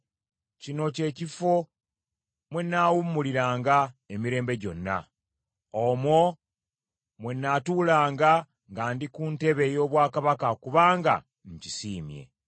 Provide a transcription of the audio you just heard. “Kino kye kifo mwe nnaawummuliranga emirembe gyonna; omwo mwe nnaatuulanga nga ndi ku ntebe ey’obwakabaka kubanga nkisiimye.